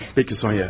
Pəki, Sonya.